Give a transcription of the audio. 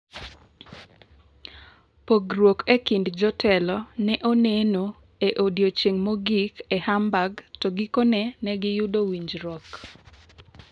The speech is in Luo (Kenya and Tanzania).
Pogruok e kind jotelo ne oneno e odiechieng' mogik e Hamburg to gikone ne giyudo winjruok.